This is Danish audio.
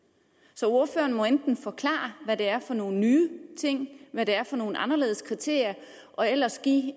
så ordføreren må enten forklare hvad det er for nogle nye ting hvad det er for nogle anderledes kriterier og ellers give